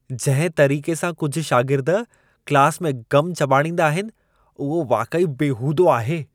जंहिं तरीक़े सां कुझु शागिर्द क्लास में गम चॿाड़ींदा आहिनि, उहो वाक़ई बेहूदो आहे!